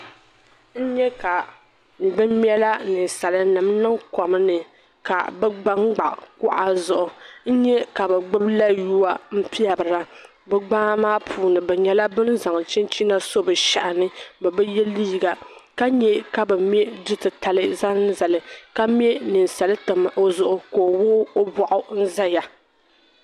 N nyɛ kabi mɛla ninsalinima n niŋ kom ni. ka bɛ gba gba kuɣa zuɣu. n nyɛ. ka bɛ gbubi la yuwa n pɛbira bɛ gbaa maa puuni bɛ nyɛla ban zaŋ chinchina. nsɔ bishehini, bɛbi ye liiga. ka nyɛ ka bi mɛ dutitali zaŋ zali. kamɛ. ninsali. tam. ɔzuɣu la ɔ wuɣu. ɔ bɔɣu n ʒɛya.